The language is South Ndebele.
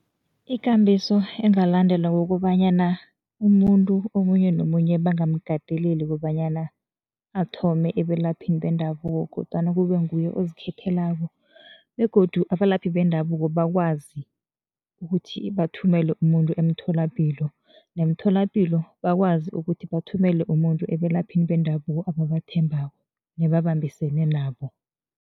Ikambiso engalandelwa kukobanyana, umuntu omunye nomunye bangamkateleli ukobanyana athome ebelaphini bendabuko kodwana kube nguye ozikhethelako begodu abalaphi bendabuko bakwazi ukuthi bathumele umuntu emtholapilo, nemtholapilo bakwazi ukuthi bathumele umuntu ebelaphini bendabuko ebabathembeko nebabambisene nabo.